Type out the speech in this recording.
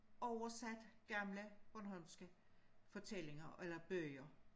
Oversat gamle bornholmske fortællinger eller bøger